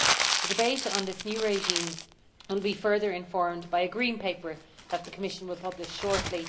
The debate on this new regime will be further informed by a Green Paper that the Commission will publish shortly.